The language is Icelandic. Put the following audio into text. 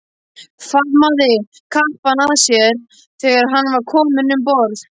Faðmaði kappann að sér þegar hann var kominn um borð.